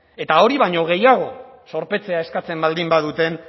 eta hori baino gehiago zorpetzea eskatzen baldin baduten